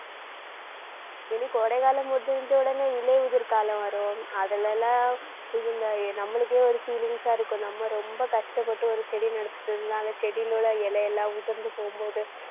இனி கோடைகாலம் முடிஞ்ச உடனே இலையுதிர் காலம் வரும். அதுல எல்லாம் நம்மளுக்கே ஒரு feelings ஆ இருக்கும். நம்ம ரொம்ப கஷ்டப்பட்டு ஒரு செடி செடியிலுள்ள இலை எல்லாம் உதிர்ந்து போகும்போது